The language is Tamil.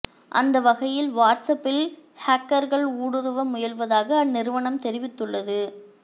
அந்த வகையில் வாட்ஸ் அப்பில் ஹேக்கர்கள் ஊடுருவ முயல்வதாக அந்நிறுவனம் தெரிவித்துள்ளது